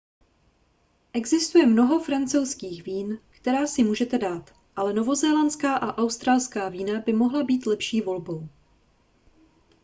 existuje mnoho francouzských vín která si můžete dát ale novozélandská a australská vína by mohla být lepší volbou